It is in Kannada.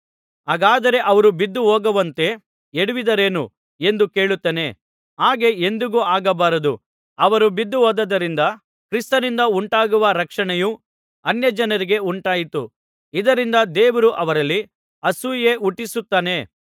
ಹಾಗಾದರೆ ಅವರು ಬಿದ್ದೇಹೋಗುವಂತೆ ಎಡವಿದರೇನು ಎಂದು ಕೇಳುತ್ತೇನೆ ಹಾಗೆ ಎಂದಿಗೂ ಆಗಬಾರದು ಅವರು ಬಿದ್ದುಹೋದದ್ದರಿಂದ ಕ್ರಿಸ್ತನಿಂದ ಉಂಟಾಗುವ ರಕ್ಷಣೆಯು ಅನ್ಯಜನರಿಗೆ ಉಂಟಾಯಿತು ಇದರಿಂದ ದೇವರು ಅವರಲ್ಲಿ ಅಸೂಯೆ ಹುಟ್ಟಿಸುತ್ತಾನೆ